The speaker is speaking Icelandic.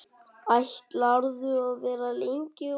Ætlarðu að vera lengi úti?